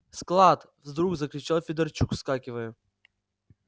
склад вдруг закричал федорчук вскакивая